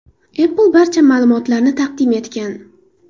Apple barcha ma’lumotlarni taqdim etgan.